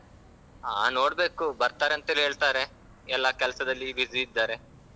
ಹಾ ನೋಡ್ಬೇಕು. ಬರ್ತಾರಂತೆಲೆ ಹೇಳ್ತಾರೆ ಎಲ್ಲಾ ಕೆಲ್ಸದಲ್ಲಿ busy ಇದ್ದಾರೆ.